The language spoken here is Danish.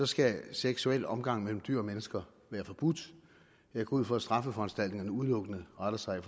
skal seksuel omgang mellem dyr og mennesker være forbudt jeg går ud fra at straffeforanstaltningerne udelukkende retter sig